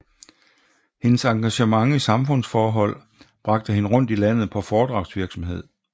Hendes engagement i samfundsforhold bragte hende rundt i landet på foredragsvirksomhed